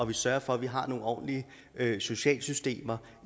vi sørger for at vi har nogle ordentlige socialsystemer